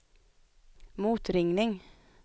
motringning